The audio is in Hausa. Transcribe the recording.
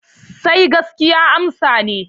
Sai gaskiya amsan ne.